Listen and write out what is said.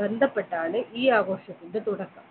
ബന്ധപ്പെട്ടാണ് ഈ ആഘോഷത്തിന്റെ തുടക്കം